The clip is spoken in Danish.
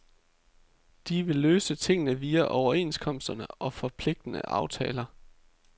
De vil løse tingene via overenskomsterne og forpligtende aftaler.